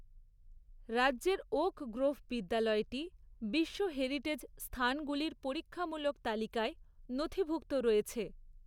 রাজ্যের Oak Grove বিদ্যালয়টি বিশ্ব হেরিটেজ স্থানগুলির পরীক্ষামূলক তালিকায় নথিভুক্ত রয়েছে।